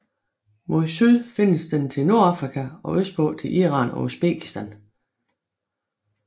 Mod syd findes den til Nordafrika og østpå til Iran og Uzbekistan